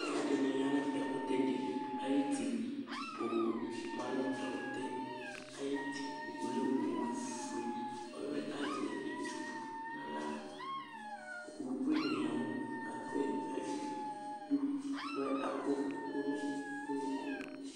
alo ɛdini ya no ɛkutɛ di ayi ti owu ma no ɛkutɛ ayi ti ɔlɛ owu fue ɔlo yɛ azɛ etu n'ala owu bene ya no ɛkò yɛ ayi du k'ɔlɛ ɛkò no unuku